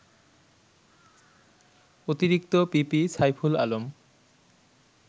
অতিরিক্ত পিপি সাইফুল আলম